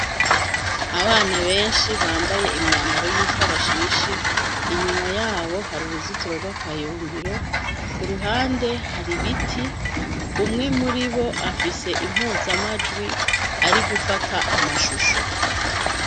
Abana benshi bambaye imyambaro y'ikarashishi inyuma yabo hari uruzitiro rw'akayungiro, ku ruhande hari ibiti, umwe muri bo afise impuzamajwi ari gufata amashusho.